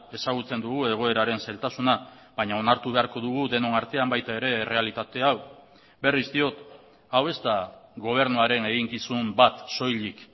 ezagutzen dugu egoeraren zailtasuna baina onartu beharko dugu denon artean baita ere errealitate hau berriz diot hau ez da gobernuaren eginkizun bat soilik